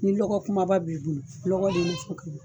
Ni lɔgɔ kunbaba b'i bolo, lɔgɔ de nafa ka bon